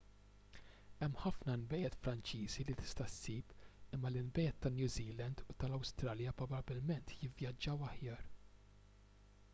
hemm ħafna nbejjed franċiżi li tista' ssib imma l-inbejjed ta' new zealand u tal-awstralja probabbilment jivvjaġġaw aħjar